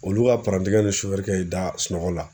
Olu ka ni y'i da sunɔgɔ la.